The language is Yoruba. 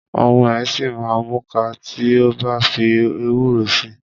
Ọmọ ẹ̀ ṣìma múka tí o bá fi ewúro si.